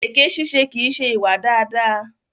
Èké ṣíṣe kìí ṣe ìwà dáadáa.